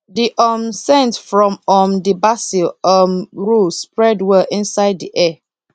the um scent from um the basil um row spread well inside the air